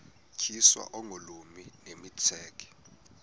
tyiswa oogolomi nemitseke